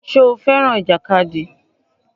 Ṣé o fẹ́ràn ìjàkadì?